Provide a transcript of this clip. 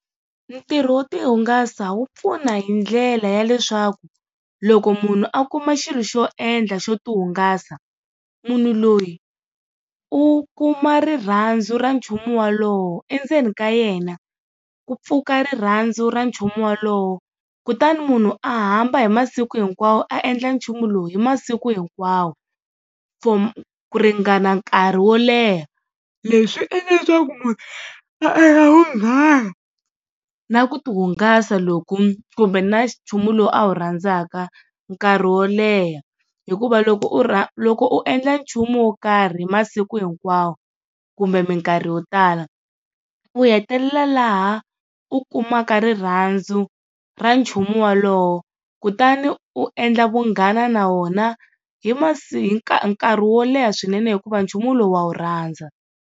Ntirho wo tihungasa wu pfuna hi ndlela ya leswaku loko munhu a kuma xilo xo endla xo tihungasa, munhu loyi u kuma rirhandzu ra nchumu wolowo, endzeni ka yena ku pfuka rirhandzu ra nchumu wolowo kutani munhu a hamba hi masiku hinkwawo a endla nchumu lowu hi masiku hinkwawo for ku ringana nkarhi wo leha. Leswi swi endla leswaku munhu a endla vunghana na ku tihungasa loku kumbe na nchumu lowu a wu rhandzaka nkarhi wo leha. Hikuva loko u loko u endla nchumu wo karhi hi masiku hinkwawo kumbe minkarhi yo tala, u hetelela laha u kumaka rirhandzu ra nchumu wolowo kutani u endla vunghana na wona hi nkarhi wo leha swinene hikuva nchumu lowu wa wu rhandza.